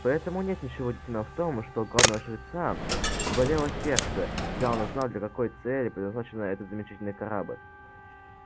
поэтому нет ничего удивительного в том что у главного жреца болело сердце когда он узнал для какой цели предназначается этот замечательный корабль